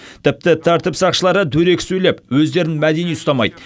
тіпті тәртіп сақшылары дөрекі сөйлеп өздерін мәдени ұстамайды